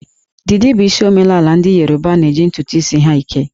Didi bụ isi omemaala ndị Yoruba na-eji ntụtụ isi ha eke